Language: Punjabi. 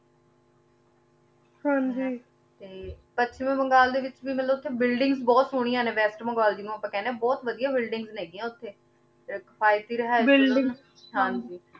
ਹਾਂਜੀ ਤੇ ਤੇ ਪਾਸ਼੍ਚ੍ਮੀ ਬਗਲ ਆਯ ਵਿਚ ਵੀ ਮਤਲਬ ਓਥੇ buildings ਬੋਹਤ ਸੋਹ੍ਨਿਯਾਂ ਆਨੀ west ਜਿਨੋਂ ਆਪਾਂ ਕਹਨੀ ਆਂ ਬੋਹਤ ਵਾਦਿਯ buildings ਨੇ ਓਥੇ buildings ਹਾਂਜੀ